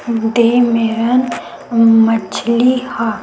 दे मेरन मछली ह।